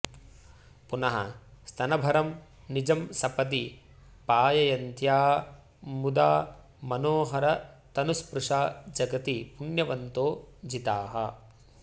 पुनः स्तनभरं निजं सपदि पाययन्त्या मुदा मनोहरतनुस्पृशा जगति पुण्यवन्तो जिताः